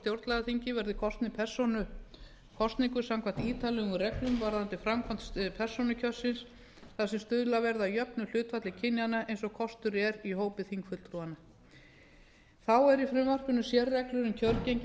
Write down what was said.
á stjórnlagaþing verði kosnir persónukosningu samkvæmt ítarlegum reglum varðandi framkvæmd persónukjörsins þar sem stuðlað verði að jöfnu hlutfalli kynjanna eins og kostur er í hópi þingfulltrúanna þá eru í frumvarpinu sérreglur um kjörgengi